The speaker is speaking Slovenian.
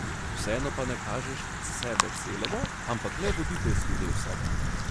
Vseeno pa ne kažeš sebe celega, ampak le voditeljski del sebe.